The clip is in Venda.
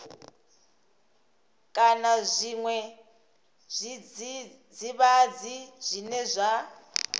kana zwiṅwe zwidzidzivhadzi zwine zwa